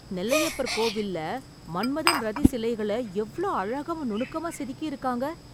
நெல்லையப்பர் கோவில்ல மன்மதன், ரதி சிலைகள எவ்ளோ அழகா நுணுக்கமா செதுக்கியிருக்காங்க...